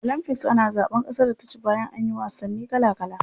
A olympics ana zaban kasar da ta ci bayan anyi wasanni kala kala.